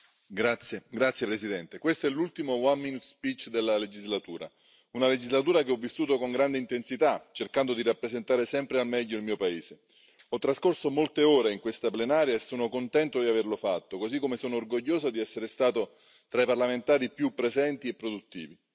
Signora Presidente, onorevoli colleghi, questo è l'ultimo della legislatura, una legislatura che ho vissuto con grande intensità, cercando di rappresentare sempre al meglio il mio paese. Ho trascorso molte ore in questa plenaria e sono contento di averlo fatto, così come sono orgoglioso di essere stato tra i parlamentari più presenti e produttivi.